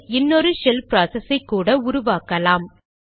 shell இன்னொரு shell process ஐ கூட உருவாக்கலாம்